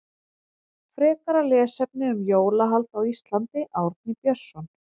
Frekara lesefni um jólahald á Íslandi Árni Björnsson.